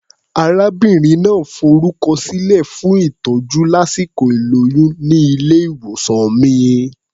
Arábìnrin náà forúkọsílẹ̀ fún ìtọ́jú lásìkò ìlóyún ní ilé-ìwòsàn mi.